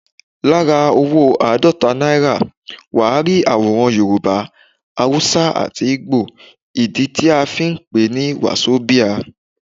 Lára owó àádọ́ta naira, wà á rí àwòrán Yorùbá, Haúsá àti Ìgbò, ìdí tí a fí ń pè ní Wàsobíà.